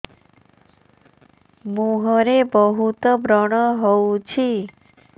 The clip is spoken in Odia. ମୁଁହରେ ବହୁତ ବ୍ରଣ ହଉଛି